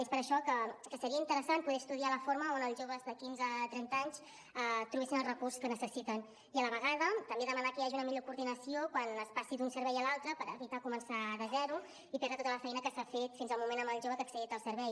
és per això que seria interessant poder estudiar la forma on els joves de quinze a trenta anys trobessin el recurs que necessiten i a la vegada també demanar que hi hagi una millor coordinació quan es passi d’un servei a l’altre per evitar començar de zero i perdre tota la feina que s’ha fet fins al moment amb el jove que ha accedit al servei